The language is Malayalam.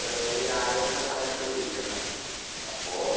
ഒരു ആലോചന പുറമേ വന്നിട്ടാ ഈ വിളിക്കുന്നത്. അപ്പൊ